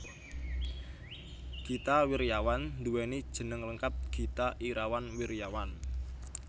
Gita Wirjawan nduwèni jeneng lengkap Gita Irawan Wirjawan